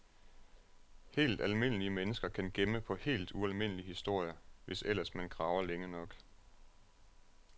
Helt almindelige mennesker kan gemme på helt ualmindelige historier, hvis ellers man graver længe nok.